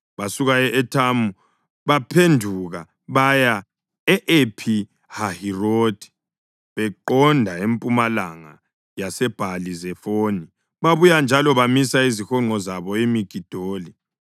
Basuka e-Ethamu, baphenduka baya ePhi-Hahirothi; beqonda empumalanga yaseBhali-Zefoni, babuye njalo bamisa izihonqo zabo eMigidoli.